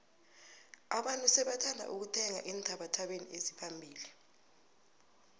abantu sebathanda ukuthenga eenthabathabeni eziphambili